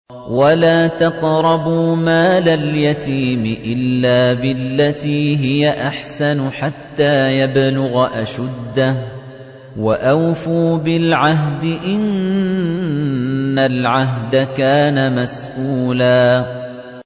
وَلَا تَقْرَبُوا مَالَ الْيَتِيمِ إِلَّا بِالَّتِي هِيَ أَحْسَنُ حَتَّىٰ يَبْلُغَ أَشُدَّهُ ۚ وَأَوْفُوا بِالْعَهْدِ ۖ إِنَّ الْعَهْدَ كَانَ مَسْئُولًا